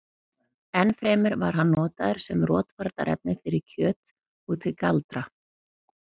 enn fremur var hann notaður sem rotvarnarefni fyrir kjöt og til galdra